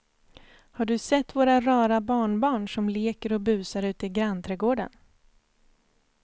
Har du sett våra rara barnbarn som leker och busar ute i grannträdgården!